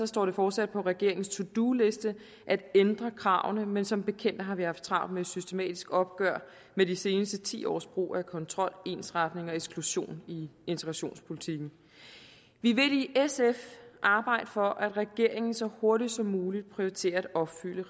står det fortsat på regeringens to do liste at ændre kravene men som bekendt har vi haft travlt med et systematisk opgør med de seneste ti års brug af kontrol ensretning og eksklusion i integrationspolitikken vi vil i sf arbejde for at regeringen så hurtigt som muligt prioriterer at opfylde